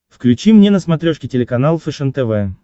включи мне на смотрешке телеканал фэшен тв